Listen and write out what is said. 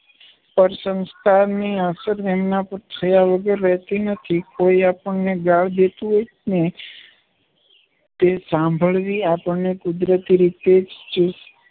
સંસ્કારની અસર એના પર થયા વગર રહેતી નથી. કોઈ આપણને ગાળ દેતું હોય ને તે સાંભળવી આપણને કુદરતી રીતે જ